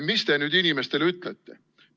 Mida te nüüd inimestele ütlete?